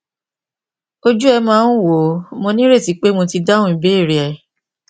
ojú ẹ máa ń wò ó mo ní ìrètí pé mo ti dáhùn ìbéèrè rẹ